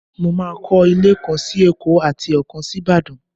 Mo máa kọ́lé kan sí Èkó àti ọ̀kan sí Ìbàdàn.